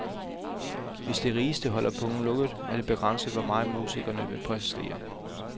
Hvis de rigeste holder pungen lukket, er det begrænset, hvor meget musikerne vil præstere.